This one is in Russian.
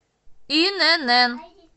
инн